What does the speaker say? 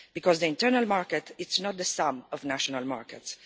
The internal market is not the sum of national markets.